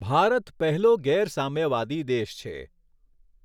ભારત પહેલો ગેર સામ્યાવાદી દેશ છે.